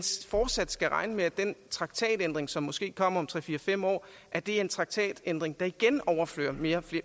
fortsat skal regne med at den traktatændring som måske kommer om tre fire fem år er en traktatændring der igen overfører mere